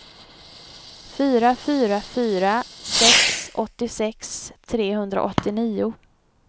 fyra fyra fyra sex åttiosex trehundraåttionio